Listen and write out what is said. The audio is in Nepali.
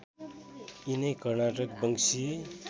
यिनै कर्नाटक वंशी